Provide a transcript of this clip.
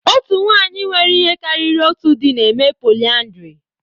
Otu nwanyị nwere ihe karịrị otu di na-eme polyandry.